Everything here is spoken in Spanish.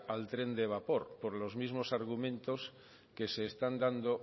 al tren de vapor por los mismo argumentos que se están dando